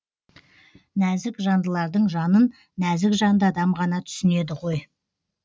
нәзік жандылардың жанын нәзік жанды адам ғана түсінеді ғой